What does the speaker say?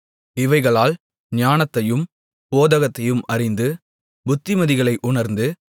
இவைகளால் ஞானத்தையும் போதகத்தையும் அறிந்து புத்திமதிகளை உணர்ந்து